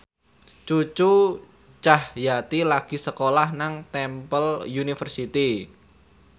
Cucu Cahyati lagi sekolah nang Temple University